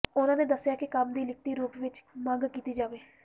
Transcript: ਉਨ੍ਹਾਂ ਦੱਸਿਆ ਕਿ ਕੰਮ ਦੀ ਲਿਖਤੀ ਰੂਪ ਵਿਚ ਮੰਗ ਕੀਤੀ ਜਾਵੇ